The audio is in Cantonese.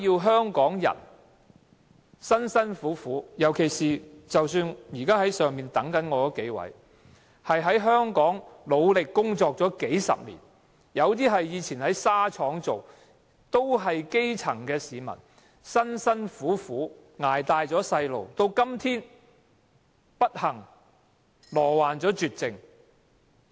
香港人工作辛勞，現時在樓上等待我的數位病人，他們在香港努力工作數十年，有人過去在紗廠工作，都是基層市民，辛辛苦苦將孩子養大，到今天卻不幸罹患絕症。